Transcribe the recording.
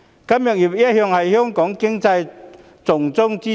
金融業一向是香港經濟的重中之重。